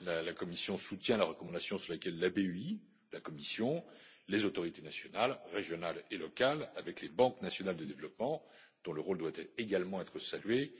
La Commission soutient la recommandation selon laquelle la BEI, la Commission, les autorités nationales, régionales et locales, avec les banques nationales de développement, dont le rôle doit également être salué,